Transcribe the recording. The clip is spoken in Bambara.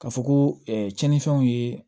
Ka fɔ ko tiɲɛnifɛnw ye